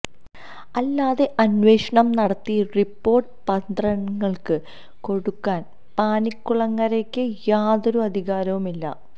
അല്ലാതെ അനേന്വഷണം നടത്തി റിപ്പോര്ട്ട് പത്രങ്ങള്ക്ക് കൊടുക്കാന് പാനിക്കുളങ്ങരയ്ക്ക് യാതൊരു അധികാരവും ഇല്ല